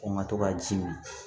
O ma to ka ji mi